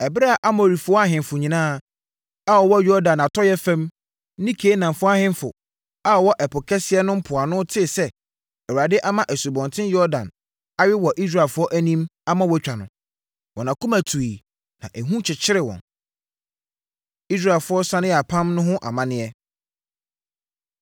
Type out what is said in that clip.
Ɛberɛ a Amorifoɔ ahemfo nyinaa a wɔwɔ Yordan atɔeɛ fam ne Kanaanfoɔ ahemfo a wɔwɔ Ɛpo Kɛseɛ no mpoano tee sɛ Awurade ama Asubɔnten Yordan awe wɔ Israelfoɔ anim ama wɔatwa no, wɔn akoma tuiɛ na ehu kyekyeree wɔn. Israelfoɔ Sane Yɛ Apam No Ho Amanneɛ